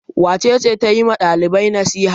Wace ce ta yi wa ɗalibai nasiha?